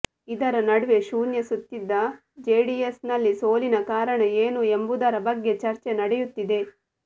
ಇದರ ನಡುವೆ ಶೂನ್ಯ ಸುತ್ತಿದ ಜೆಡಿಎಸ್ ನಲ್ಲಿ ಸೋಲಿನ ಕಾರಣ ಏನು ಎಂಬುದರ ಬಗ್ಗೆ ಚರ್ಚೆ ನಡೆಯುತ್ತಿದೆ